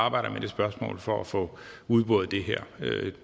arbejder med det spørgsmål for at få udboret det her